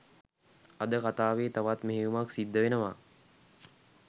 අද කතාවෙ තවත් මෙහෙයුමක් සිද්ධ වෙනවා